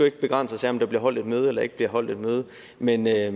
ikke begrænse os af om der bliver holdt et møde eller ikke bliver holdt et møde men jeg